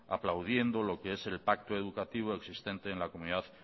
aplaudiendo lo qué es el pacto educativo existente en la comunidad